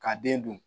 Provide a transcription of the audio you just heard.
K'a den dun